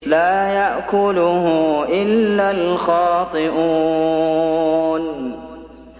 لَّا يَأْكُلُهُ إِلَّا الْخَاطِئُونَ